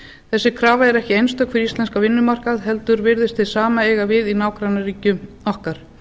þessi krafa er ekki einstök fyrir íslenskan vinnumarkað heldur virðist hið sama eiga við í nágrannaríkjum okkar